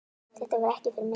Þetta var ekki fyrir mig